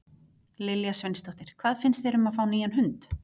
Lilja Sveinsdóttir: Hvað finnst mér um að fá nýjan hund?